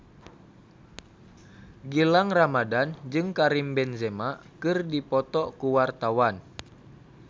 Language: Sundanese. Gilang Ramadan jeung Karim Benzema keur dipoto ku wartawan